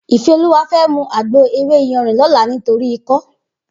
Ifeoluwa fè mú àgbó éwé iyànrín lòlá nitóri ikò